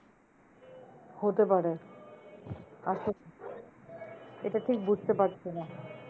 হতে পারে আসলে এটা ঠিক বুঝতে পারছি না।